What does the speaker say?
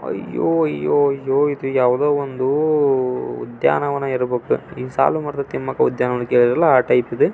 ಅಯ್ಯೋ ಅಯ್ಯೋ ಅಯ್ಯೋ ಇದು ಯಾವುದೋ ಒಂದು ವುದ್ಯಾನವನ ಇರ್ಬೇಕು ಈ ಸಾಲು ಮರದ ತಿಮ್ಮಕ್ಕ ವುದ್ಯಾನವನ ಕೇಳಿರಲ್ಲ ಆ ಟೈಪ್ ಇದು.